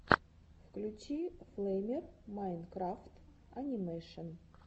включи флэймер майнкрафт анимэшен